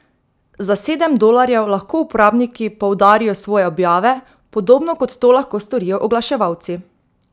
Za sedem dolarjev lahko uporabniki poudarijo svoje objave, podobno kot to lahko storijo oglaševalci.